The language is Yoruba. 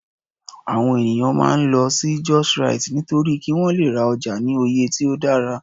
awon eniyan maa n lol si justrite nitori ki won Le ra oja ni oye ti o dara